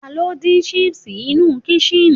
ta ni o din sipsi inú kışın